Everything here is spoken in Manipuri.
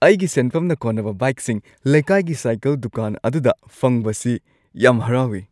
ꯑꯩꯒꯤ ꯁꯦꯟꯐꯝꯅ ꯀꯣꯟꯅꯕ ꯕꯥꯏꯛꯁꯤꯡ ꯂꯩꯀꯥꯏꯒꯤ ꯁꯥꯏꯛꯜ ꯗꯨꯀꯥꯟ ꯑꯗꯨꯗ ꯐꯪꯕꯁꯤ ꯌꯥꯝ ꯍꯔꯥꯎꯏ꯫